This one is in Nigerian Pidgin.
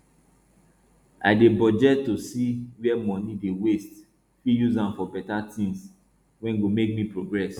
i dey budget to see where money dey waste fit use am for better tins wey go make me progress